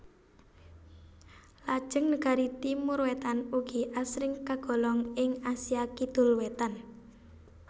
Lajeng negari Timor Wétan ugi asring kagolong ing Asia Kidul Wétan